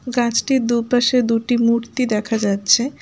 গাছটির দুপাশে দুটি মূর্তি দেখা যাচ্ছে।